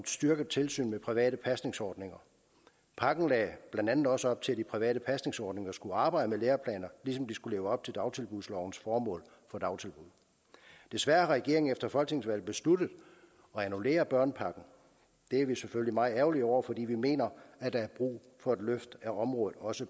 styrket tilsyn med private pasningsordninger pakken lagde blandt andet også op til at de private pasningsordninger skulle arbejde med læreplaner ligesom de skulle leve op til dagtilbudslovens formål for dagtilbud desværre har regeringen efter folketingsvalget besluttet at annullere børnepakken det er vi selvfølgelig meget ærgerlige over fordi vi mener at der er brug for et løft af området også